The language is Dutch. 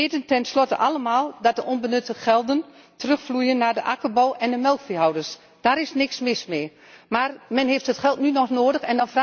We weten tenslotte allemaal dat de onbenutte gelden terugvloeien naar de akkerbouw en de melkveehouders. Daar is niks mis mee, maar men heeft het geld nu nog nodig.